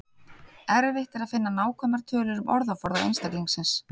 Erfitt er að finna nákvæmar tölur um orðaforða einstaklingsins.